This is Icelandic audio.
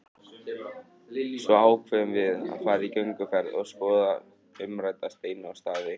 Svo ákveðum við að fara í gönguferð og skoða umrædda steina og staði.